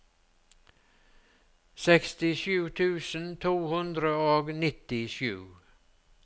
sekstisju tusen to hundre og nittisju